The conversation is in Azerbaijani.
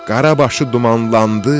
Qara başı dumanlandı,